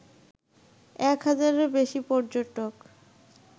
এক হাজারেরও বেশী পর্যটক